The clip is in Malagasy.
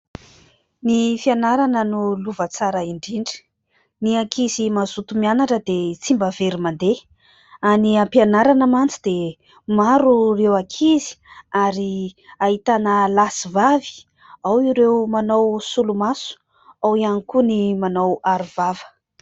Ny fianarana no lova tsara indrindra. Ny ankizy mazoto mianatra dia tsy mba very mandeha. Any ampianarana mantsy dia maro ireo ankizy ary ahitana lahy sy vavy, ao ireo manao solomaso, ao ihany koa ny manao arovava.